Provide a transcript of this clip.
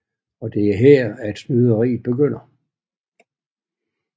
Og det er her at snyderiet begynder